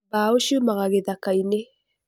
Mbao ciumaga gĩthakainĩ.